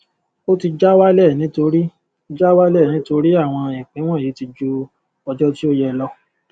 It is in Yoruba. ó ti já wálẹ nítorí já wálẹ nítorí àwọn ìpín wọnyí ti ju ọjọ tí ó yẹ lọ